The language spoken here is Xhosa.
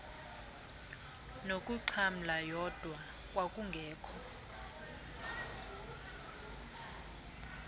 nokuxhamla yodwa kwakungekho